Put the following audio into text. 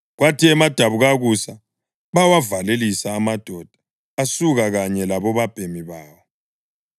Kwathi emadabukakusa bawavalelisa amadoda asuka kanye labobabhemi bawo.